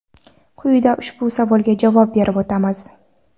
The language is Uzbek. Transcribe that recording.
Quyida ushbu savolga javob berib o‘tamiz.